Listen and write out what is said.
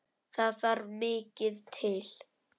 Þar þarf mikið til.